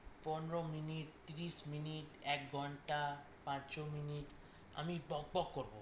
পনেরো মিনিট, তিরিশ মিনিট, এক ঘন্টা, পাঁচশো মিনিট আমি বক বক করবো